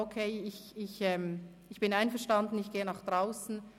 «Okay, ich bin einverstanden, ich gehe nach draussen.».